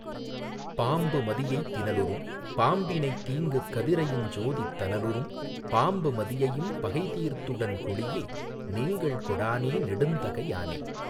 பாம்பு மதியைத் தினலுறும் பாம்பினைத் தீங்கு கதிரையுஞ் சோதித் தனலுறும் பாம்பு மதியையும் பகைதீர்த் துடன்கொளீஇ நீங்கள் கொடானே நெடுந்தகை யானே.